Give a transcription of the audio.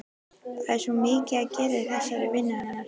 Það er svo mikið að gera í þessari vinnu hennar.